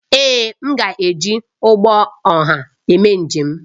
Èé, m ga-eji ụgbọ ọha eme njem